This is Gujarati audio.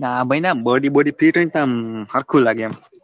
ના ભાઈ ના body body આમ હરખું લાગે આમ.